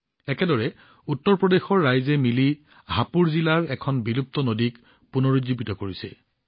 একেদৰে উত্তৰপ্ৰদেশৰ কেৰ হাপুৰ জিলাত মানুহে একেলগ হৈ এটা বিলুপ্ত নদী পুনৰুজ্জীৱিত কৰিছে